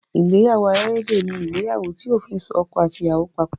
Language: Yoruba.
Ìgbéyàwó alárédè ní ìgbéyàwó tí òfin so ọkọ àti ìyàwó papọ̀.